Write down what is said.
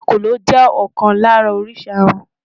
Èkòló jẹ́ ọ̀kan lára oríṣi aràn.